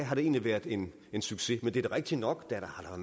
har det egentlig været en succes men det er da rigtigt nok at der har